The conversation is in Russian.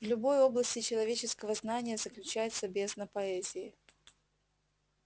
в любой области человеческого знания заключается бездна поэзии